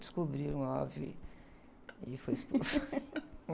Descobriram, óbvio, e, e fui expulsa.